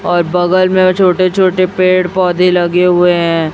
और बगल में छोटे छोटे पेड़ पौधे लगे हुए हैं।